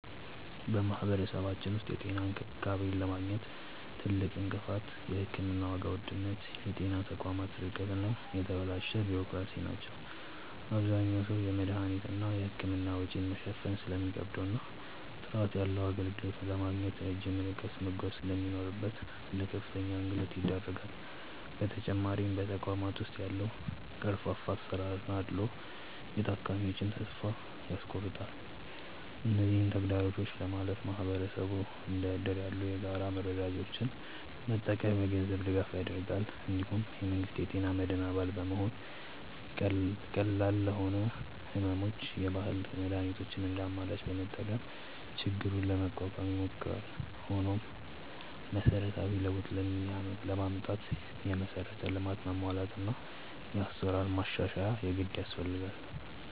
በማህበረሰባችን ውስጥ የጤና እንክብካቤን ለማግኘት ትልቁ እንቅፋት የሕክምና ዋጋ ውድነት፣ የጤና ተቋማት ርቀት እና የተበላሸ ቢሮክራሲ ናቸው። አብዛኛው ሰው የመድኃኒትና የሕክምና ወጪን መሸፈን ስለሚከብደውና ጥራት ያለው አገልግሎት ለማግኘት ረጅም ርቀት መጓዝ ስለሚኖርበት ለከፍተኛ እንግልት ይዳረጋል። በተጨማሪም በተቋማት ውስጥ ያለው ቀርፋፋ አሰራርና አድልዎ የታካሚዎችን ተስፋ ያስቆርጣል። እነዚህን ተግዳሮቶች ለማለፍ ማህበረሰቡ እንደ እድር ያሉ የጋራ መረዳጃዎችን በመጠቀም የገንዘብ ድጋፍ ያደርጋል። እንዲሁም የመንግስት የጤና መድን አባል በመሆንና ቀላል ለሆኑ ሕመሞች የባህል መድኃኒቶችን እንደ አማራጭ በመጠቀም ችግሩን ለመቋቋም ይሞክራል። ሆኖም መሰረታዊ ለውጥ ለማምጣት የመሠረተ ልማት መሟላትና የአሰራር ማሻሻያ የግድ ያስፈልጋል።